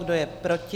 Kdo je proti?